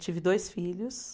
Tive dois filhos.